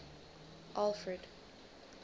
alfred